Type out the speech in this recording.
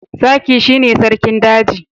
Zaki shi ne sarkin a daji